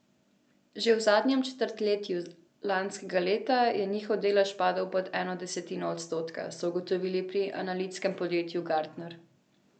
Že v zadnjem četrtletju lanskega leta je njihov delež padel pod eno desetinko odstotka, so ugotovili pri analitskem podjetju Gartner.